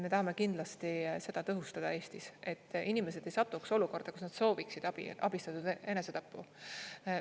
Me tahame kindlasti seda tõhustada Eestis, et inimesed ei satuks olukorda, kus nad sooviksid abistatud enesetappu.